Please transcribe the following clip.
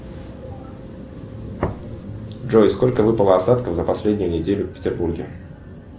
джой сколько выпало осадков за последнюю неделю в петербурге